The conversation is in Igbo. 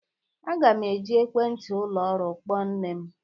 Aga m eji ekwentị ụlọ ọrụ kpọọ nne m